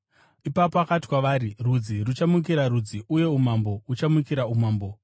Ipapo akati kwavari, “Rudzi ruchamukira rudzi, uye umambo huchamukira humwe umambo.